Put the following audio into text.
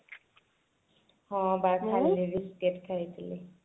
ହଁ ବା ଖାଲି ଖାଇଥିଲି